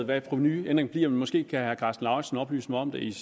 hvad provenuændringen bliver men måske kan herre karsten lauritzen oplyse mig om det